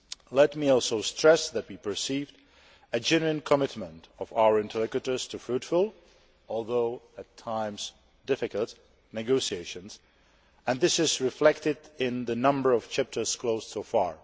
Let me also stress that we perceived a genuine commitment of our interlocutors to fruitful although at times difficult negotiations, and this is reflected in the number of chapters closed so far.